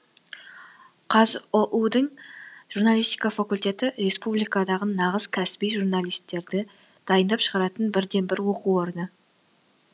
қазұу дің журналистика факультеті республикадағы нағыз кәсіби журналистерді дайындап шығаратын бірден бір оқу орны